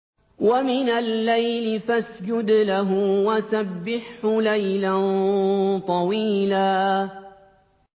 وَمِنَ اللَّيْلِ فَاسْجُدْ لَهُ وَسَبِّحْهُ لَيْلًا طَوِيلًا